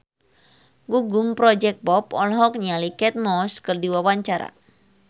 Gugum Project Pop olohok ningali Kate Moss keur diwawancara